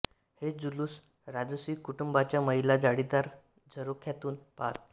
हे जुलूस राजसी कुटुंबाच्या महिला जाळीदार झरोख्यातून पाहत